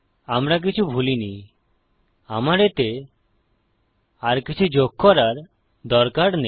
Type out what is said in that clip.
আমরা কিছু ভুলিনি আমার এতে আর কিছু যোগ করার দরকার নেই